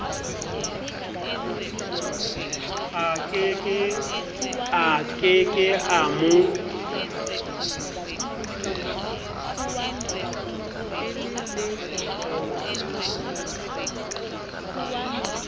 a ke ke a mo